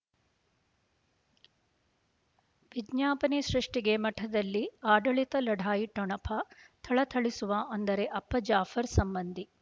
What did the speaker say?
ವಿಜ್ಞಾಪನೆ ಸೃಷ್ಟಿಗೆ ಮಠದಲ್ಲಿ ಆಡಳಿತ ಲಢಾಯಿ ಠೊಣಪ ಥಳಥಳಿಸುವ ಅಂದರೆ ಅಪ್ಪ ಜಾಫರ್ ಸಂಬಂಧಿ